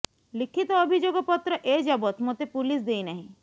ଲିଖିତ ଅଭିଯୋଗ ପତ୍ର ଏଯାବତ୍ ମୋତେ ପୁଲିସ ଦେଇ ନାହିଁ